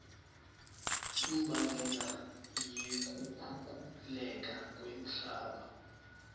imbangela yekukhukhuleka kwemhlaba